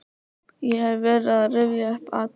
Ég hef verið að rifja upp atriði úr